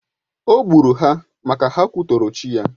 Ò gburu ha maka ha kwutọrò chi ya.